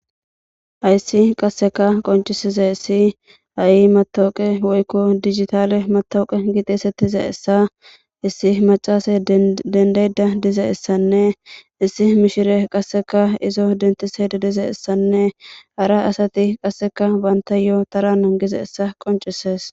Hayssi qasseka konccisizaysi ha'i mattoqay woykko dijitale mattoqa getetidi xeyssetizaysanne issi maccasiya dendayida dizaysanne issi mishshirya qasekka izo denththashe dizayisanne hara asati qaseka bantayo tara nangizaysa qonccises.